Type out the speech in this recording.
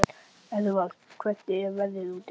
Áður en ég var lokuð inni var ímyndunin gnægtabrunnur.